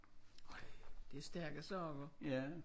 Det er stærke sager